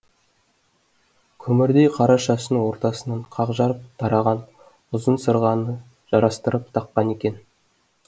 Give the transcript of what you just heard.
көмірдей қара шашын ортасынан қақ жарып тараған ұзын сырғаны жарастырып таққан екен